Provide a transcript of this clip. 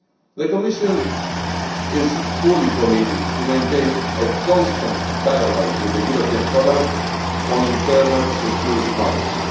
The Commission is fully committed to maintaining a constant dialogue with the European Parliament on internal security matters.